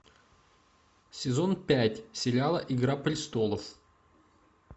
сезон пять сериала игра престолов